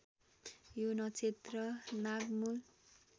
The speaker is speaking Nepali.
यो नक्षत्र नागमूल